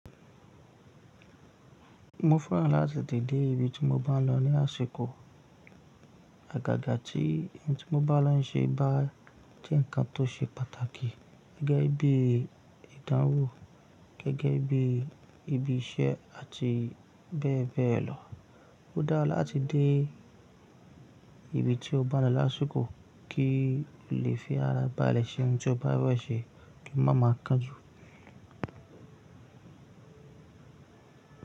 Mo fẹ́ràn láti dé ìbí tí mo bá lọ ní àsìkò. Àgàgà tí ẹni tí mo bá lọ ń ṣe bá jẹ́ ǹkan tó ṣe pàtàkì gẹ́gẹ́ bí ìdánwò gẹ́gẹ́ bí ibi iṣẹ́ àti bẹ́ẹ̀ bẹ́ẹ̀ lọ. Ó dára láti dé ìbí tí o bá lọ lásìkò kí o lè fi ara bálẹ̀ ṣe ohun tí o bá fẹ́ wẹ̀ ṣe kí wọ́n máa máa kan jù.